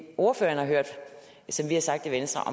ordføreren har hørt vi har sagt i venstre